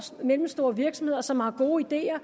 mellemstore virksomheder som har gode ideer og